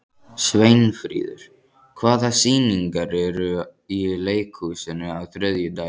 Sveinfríður, hvaða sýningar eru í leikhúsinu á þriðjudaginn?